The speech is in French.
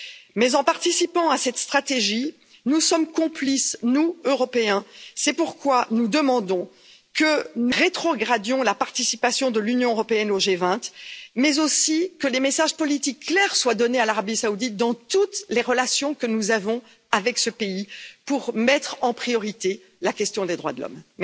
Mais en participant à cette stratégie, nous sommes complices, nous Européens, c'est pourquoi nous demandons de rétrograder la participation de l'Union européenne au G 20 et de lancer des messages politiques clairs à l'Arabie Saoudite dans toutes les relations que nous avons avec ce pays pour faire passer en priorité la question des droits de l'homme.